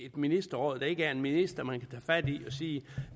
ministerråd eller en minister man og sige